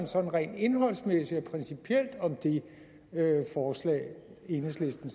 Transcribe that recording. sådan rent indholdsmæssigt og principielt om det forslag enhedslisten